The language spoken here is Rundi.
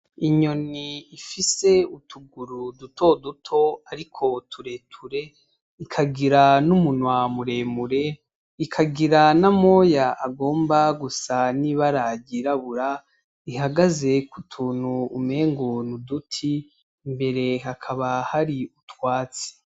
Inyoni ifise utuguru duto duto ariko tureture, ikagira n'umunwa muremure, ikagira n'amoya agomba gusa n'ibara ryirabura, ihagaze ku tuntu umengo ni uduti, imbere hakaba hari utwatsi.